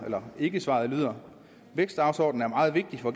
eller ikkesvaret lyder vækstdagsordenen er meget vigtig for